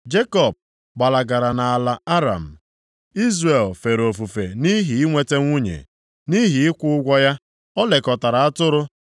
Jekọb gbalagara nʼala Aram; Izrel fere ofufe nʼihi inweta nwunye, nʼihi ịkwụ ụgwọ ya, o lekọtara atụrụ.